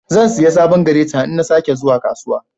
Zan siya sabon "greater" in na sa ke zuwa kasuwa.